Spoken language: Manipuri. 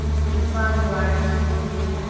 Imphal war cemetery